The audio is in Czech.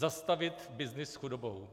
Zastavit byznys s chudobou.